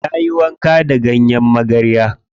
Ta yi wanka da ganyen magarya.